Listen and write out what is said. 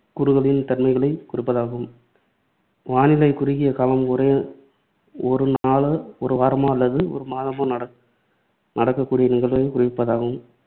கூறுகளின் தன்மைகளை குறிப்பதாகும். வானிலை குறுகிய காலம் ஒரு ஒரு நாளோ, ஒரு வாரமோ அல்லது ஒரு மாதமோ நடக்க நடக்கக்கூடிய நிகழ்வைக் குறிப்பதாகும்.